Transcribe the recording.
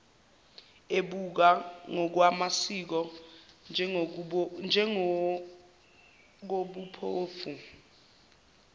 ebukwa ngokwamasiko njengokobuphofu